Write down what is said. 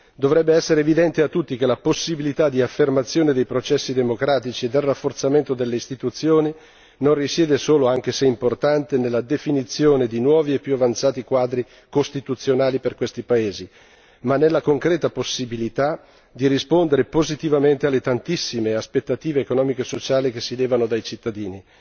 Dovrebbe essere evidente a tutti che la possibilità di affermazione dei processi democratici e del rafforzamento delle istituzioni non risiede solo, anche se è importante, nella definizione di nuovi e più avanzati quadri costituzionali per questi paesi, ma nella concreta possibilità di rispondere positivamente alle tantissime aspettative economiche e sociali che si levano dai cittadini.